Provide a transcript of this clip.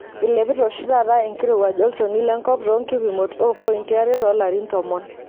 Eilepita oshi taata enkirowuaj olchoni lenkop toonkipimot oompoiti are too larin tomon.